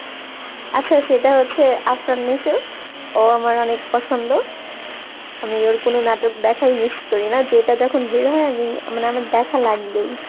আচ্ছা সেটা হচ্ছে আফরাননেশা ও আমার অনেক পছন্দ আমি ওর কোনো নাটক দেখাই miss করি না যেটা যখন বেরোয় আমি মানে আমার দেখা লাগবেই